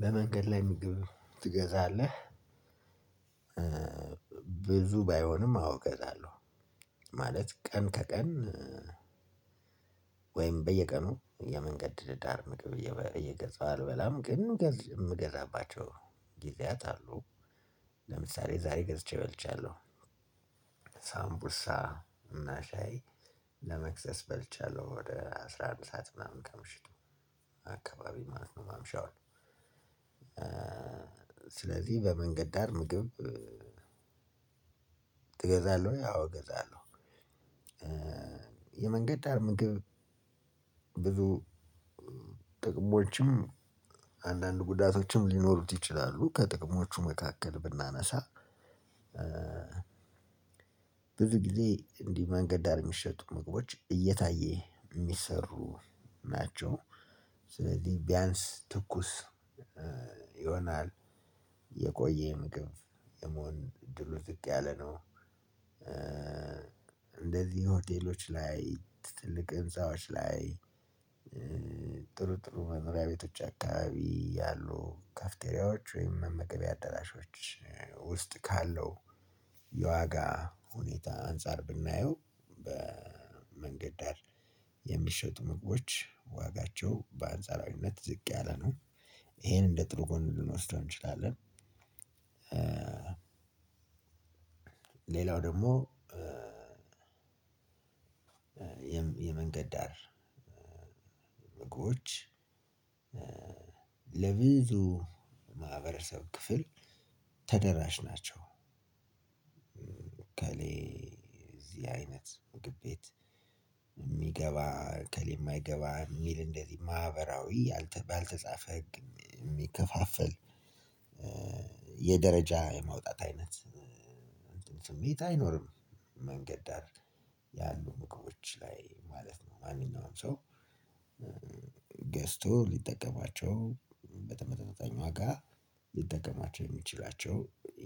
በመንገድ ላይ ምግብ ትገዛለህ? ብዙ ባይሆንም አዎ እገዛለሁ። ማለት ቀን ከቀን። ወይም በየቀኑ የመንገድ ዳር ምግብ እየገዛሁ አልበላም ግን የምገዛባቸው ጊዜያት አሉ። ለምሳሌ ዛሬ ገዝቼ በልችያለሁ። ሳምቡሳ እና ሻይ ለመክሰስ በልችያለሁ ወደ አስራ አንድ ሰዓት ምናምን ከምሽቱ አካባቢ ማለት ነው ማምሻዉን። ስለዚህ በመንገድ ዳር ምግብ እገዛለሁ ያው እገዛለሁ። የመንገድ ዳር ምግብ ብዙ ጥቅሞችም አንዳንድ ጉዳቶችም ሊኖሩት ይችላሉ ከጥቅሞቹ መካከል ብናነሳ። ብዙ ጊዜ እንዲህ መንገድ ዳር የሚሸጡ ምግቦች እየታየ የሚሰሩ ናቸው። ስለዚህ ቢያንስ ትኩስ ይሆናል የቆየም ምግብ የመሆን እድሉ ዝቅ ያለ ነው። እንደዚህ ሆቴሎች ላይ ትልቅ ህንፃዎች ላይ ጥሩ ጥሩ መኖሪያ ቤቶች አካባቢ ያሉ ካፍቴሪያዎች ወይም መመገቢያ አዳራሾች ውስጥ ካለው የዋጋ ሁኔታ አንፃር ብናየው በመንገድ ዳር የሚሸጡ ምግቦች ዋጋቸው በአንጻራዊነት ዝቅ ያለ ነው ይሄን እንደ ጥሩ ጎን ልንወስደው እንችላለን። ሌላው ደግሞ የመንገድ ዳር ምግቦች ለብዙ ማህበረሰብ ክፍል ተደራሽ ናቸው። እከሌ እዚህ አይነት ግብ ቤት የምገባ እከሌማ የማይገባ የሚል እንደዚህ ማህበራዊ ባልተጻፈ ህግ የሚከፋፈል የደረጃ የማውጣት አይነት ስሜት አይኖርም። መንገድ ዳር ያሉ መቆሞች ላይ ማለት ነው ማንኛውም ሰው ሊጠቀማቸው በተመጣጣኝ ዋጋ ሊጠቀማቸው የምችላቸው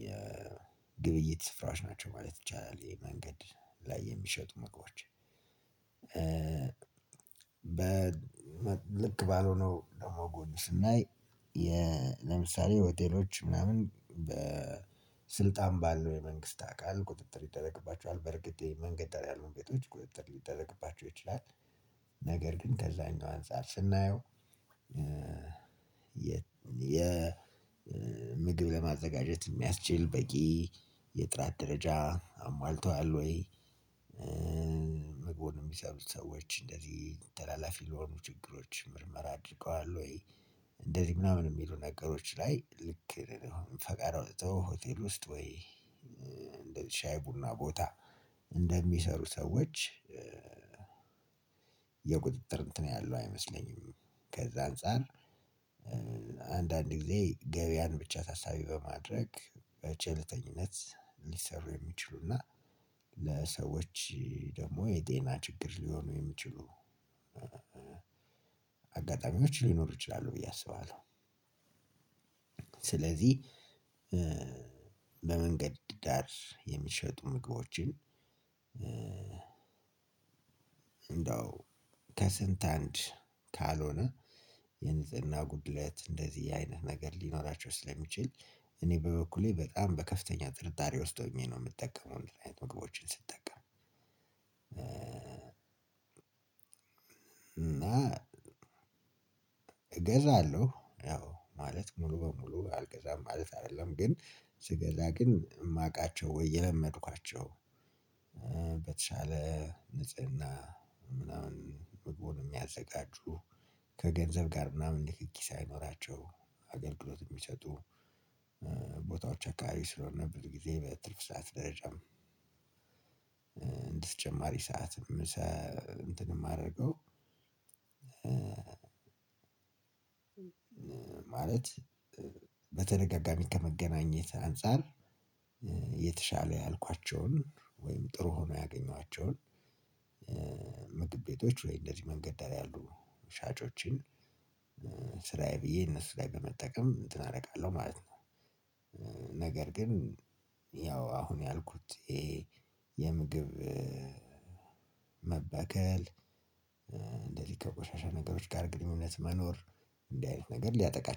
የግብይት ስፍራዎች ናቸው ማለት ይቻላል። የመንገድ ላይ የምሸጡ ምግቦች በ ልክ ባልሆነው ደግሞ ጎን ስናይ ለምሳሌ ሆቴሎች ምናምን በስልጣን ባለው የመንግስት አካል ቁጥጥር ይደረግባቸዋል በርግጥ የመንገድ ደርግሞ ቤቶች ቁጥጥር ሊደረግባቸው ይችላል። ነገር ግን ከዛኛው አንፃር ስናየው የ ምግብ ለማዘጋጀት የሚያስችል በቂ የጥራት ደረጃ አሟልቶሃል ወይ? ምግቡን የሚሰሩ ሰዎች እንደዚህ ተላላፊ ለሆኑ ችግሮች ምርመራ አድርገዋል ወይ? እንደዚህ ምናምን የሚሉ ነገሮች ላይ ልክ ፈቃድ አውጥቶ ሆቴል ውስጥ ወይ? እንደ ሻይ ቡና ቦታ እንደሚሰሩ ሰዎች የቁጥጥር እንትን ያለው አይመስለኝም። ከዛ አንፃር አንዳንድ ጊዜ ገበያን ብቻ ታሳቢ በማድረግ በቸልተኝነት ልሰራ የምችሉና ለሰዎች ደግሞ የጤና ችግር ልሆኑ የምችሉ አጋጣሚዎች ሊኖሩ ይችላሉ ብዬ አስባለሁ። ስለዚህ በመንገድ ዳር የሚሸጡ ምግቦችን እንዳው ከስንት አንድ ካልሆነ የንጽህና ጉድለት እንደዚህ አይነት ነገር ሊኖራቸው ስለሚችል እኔ በበኩሌ በጣም በከፍተኛ ጥርጣሬ ውስጥ ሆኜ ነው። የምጠቀመው ምክንያቱም እነዚህ አይነት ምግቦችን ስጠቀም እና እገዛለሁ ያው ማለት ሙሉ በሙሉ አልገዛም ማለት አይደለም። ግን ስገዛ ግን የማውቃቸው ወይ የለመድኳቸው በተሻለ ንጽህና ምናምን ምግቡን የሚያዘጋጁ ከገንዘብ ጋር ምናምን ንክኪ ሳይኖራቸው አገልግሎት የሚሰጡ ቦታዎች አካባቢ ስለሆነ ብዙ ጊዜ በትርፍ ሰዓት ደረጃም እንደተጨማሪ ሰዓትም ምሳ እንትን የማደርገው። ማለት በተደጋጋሚ ከመገናኘት አንፃር የተሻለ ያልኳቸውን ወይም ጥሩ ሆኖ ያገኟቸውን ምግብ ቤቶች ወይም እንደዚህ መንገድ ዳር ያሉ ሻጮችን ስራዬ ብዬ እነሱ ላይ በመጠቀም እንትን አደርጋለሁ ማለት ነው። ነገር ግን ያው አሁን ያልኩት ይሄ የምግብ መበከል እንደዚህ ከቆሻሻ ነገሮች ጋር ግንኙነት መኖር እንዲ አይነት ነገር ሊያጠቃቸው